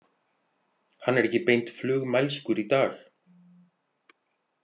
Hann er ekki beint flugmælskur í dag.